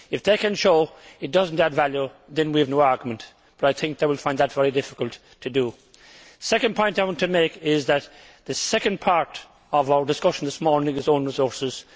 If they can show that it does not add value, then we have no argument, but I think they will find that very difficult to do. The second point I want to make is that the second part of our discussion this morning is on own resources.